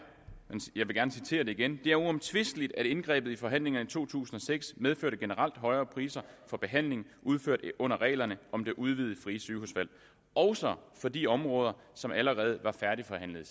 og jeg vil gerne citere det igen det er uomtvisteligt at indgrebet i forhandlingerne i to tusind og seks medførte generelt højere priser for behandlinger udført under reglerne om det udvidede frie sygehusvalg også for de områder som allerede var færdigforhandlede